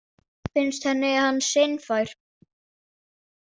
Finnst henni hann seinfær?